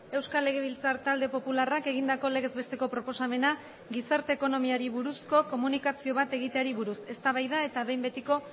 euskal legebiltzar talde popularrak egindako legez besteko proposamena gizarte ekonomiari buruzko komunikazio bat egiteari buruz eztabaida eta behin betiko